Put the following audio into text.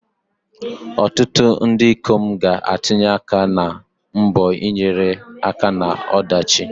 Ọtụtụ ndị ikom ga-atụnye aka na mbọ ịnyere aka na ọdachi.